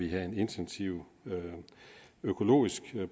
have en intensiv økologisk